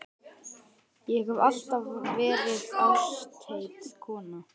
Ég hef alltaf verið ástheit kona.